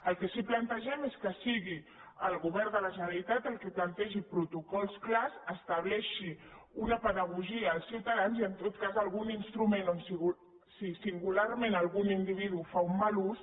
el que sí que plantegem és que sigui el govern de la generalitat el que plantegi protocols clars esta·bleixi una pedagogia als ciutadans i en tot cas algun instrument si singularment algun individu en fa un mal ús